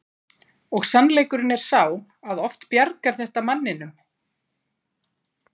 Og sannleikurinn er sá að oft bjargar þetta manninum.